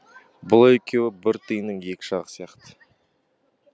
бұл екеуі бір тиынның екі жағы сияқты